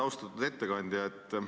Austatud ettekandja!